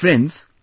Friends,